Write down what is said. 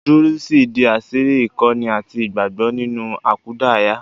Dúrúsì di àṣírí ìkọ́ni àti ìgbàgbọ́ nínú àkúdàáyá